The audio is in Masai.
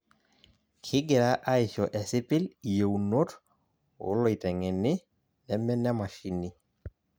Kigira aisho esipil iyeunot oloiteng'eni neme nemashini.